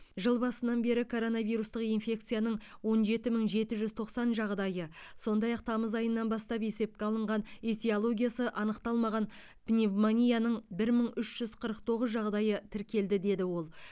жыл басынан бері коронавирустық инфекцияның он жеті мың жеті жүз тоқсан жағдайы сондай ақ тамыз айынан бастап есепке алынған этиологиясы анықталмаған пневмонияның бір мың үш жүз қырық тоғыз жағдайы тіркелді деді ол